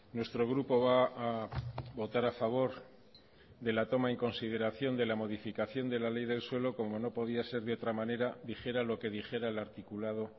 nuestro grupo va a votar a favor de la toma en consideración de la modificación de la ley del suelo como no podía ser de otra manera dijera lo que dijera el articulado